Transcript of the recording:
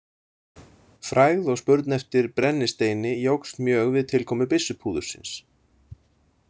Frægð og spurn eftir brennisteini jókst mjög við tilkomu byssupúðursins.